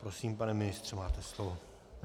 Prosím, pane ministře, máte slovo.